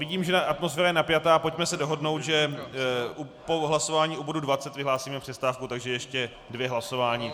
Vidím, že atmosféra je napjatá, pojďme se dohodnout, že po hlasování o bodu 20 vyhlásíme přestávku, takže ještě dvě hlasování.